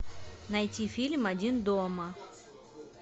найти фильм один дома